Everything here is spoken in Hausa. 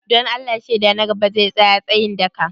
Don Allah shaida na gaba zai tsaya tsayin daka?